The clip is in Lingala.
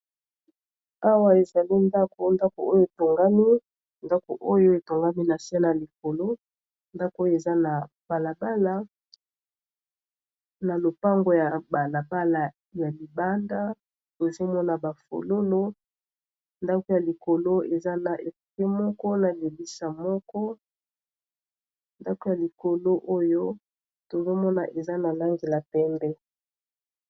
Awa ezali ndako, ndako oyo etongami na se na likolo eza na balabala, na lopango ya balabala ya libanda ezomona bafololo ndako ya likolo eza na moko na libisa moko ndako ya likolo oyo tozomona eza na langi ya pembe.